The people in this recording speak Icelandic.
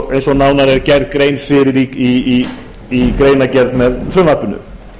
eins og nánar er gerð grein fyrir í greinargerð með frumvarpinu